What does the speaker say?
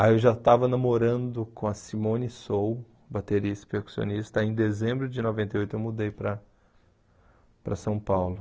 Aí eu já estava namorando com a Simone Sou, baterista e percussionista, aí em dezembro de noventa e oito eu mudei para para São Paulo.